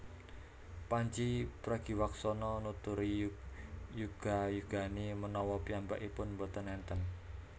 Pandji Pragiwaksono nuturi yuga yugane menawa piyambakipun mboten enten